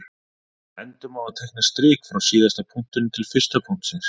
Endum á að teikna strik frá síðasta punktinum til fyrsta punktsins.